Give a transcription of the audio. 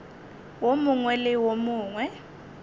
wo mongwe le wo mongwe